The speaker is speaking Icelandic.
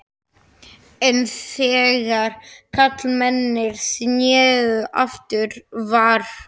En þegar karlmennirnir sneru aftur var